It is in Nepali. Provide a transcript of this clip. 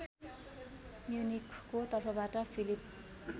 म्युनिखको तर्फबाट फिलिप